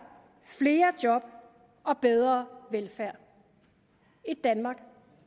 flere job og bedre velfærd et danmark